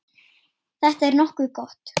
Þetta er nokkuð gott.